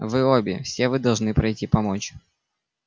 вы обе все вы должны пройти помочь